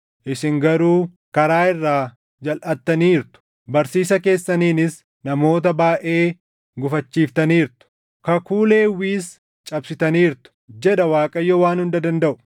Isin garuu karaa irraa jalʼattaniirtu; barsiisa keessaniinis namoota baayʼee gufachiiftaniirtu; kakuu Lewwiis cabsitaniirtu” jedha Waaqayyo Waan Hunda Dandaʼu.